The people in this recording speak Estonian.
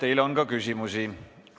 Teile on ka küsimusi.